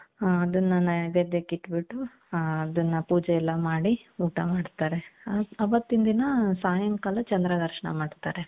ಅದನ್ನ ನೈವೇದ್ಯಕ್ಕೆ ಇಟ್ಬಿಟ್ಟು ಅದನ್ನ ಪೂಜೆ ಎಲ್ಲಾ ಮಾಡಿ ಊಟ ಮಾಡ್ತಾರೆ ಅವತ್ತಿನ ದಿನ ಸಾಯಂಕಾಲ ಚಂದ್ರ ದರ್ಶನ ಮಾಡ್ತಾರೆ .